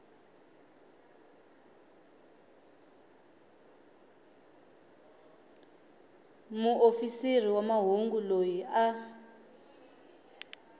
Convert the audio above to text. muofisiri wa mahungu loyi a